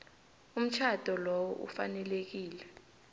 umtjhado lowo ufanelekile